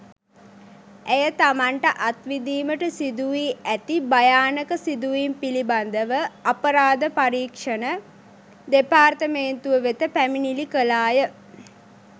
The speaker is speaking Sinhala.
ඇය තමන්ට අත්විඳීමට සිදුවී ඇති භයානක සිදුවීම් පිළිබඳව අපරාධ පරීක්‍ෂණ දෙපාර්තමේන්තුව වෙත පැමිණිලි කළාය.